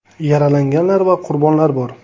Yaralanganlar va qurbonlar bor.